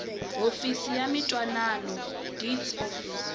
hofisi ya mintwanano deeds office